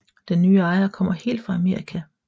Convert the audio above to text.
Den nye ejer kommer helt fra Amerika